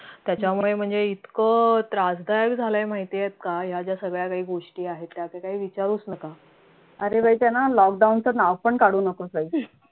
त्याच्यामुळे म्हणजे इतकं त्रासदायक झालय माहितीयेत का या ज्या सगळ्या काही गोष्टी आहेत त्याचं काही विचारूच नका